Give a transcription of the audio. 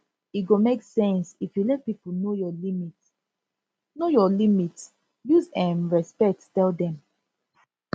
e go make sense if you let pipo know your limit know your limit use um respect tell dem